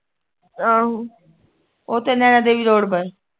ਓਥੇ ਨੈਣਾ ਦੇਵੀ road ਪਰ